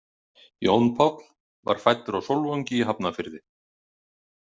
Jón Páll var fæddur á Sólvangi í Hafnarfirði.